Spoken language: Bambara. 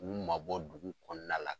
K'u mabɔ dugu kɔnɔna la.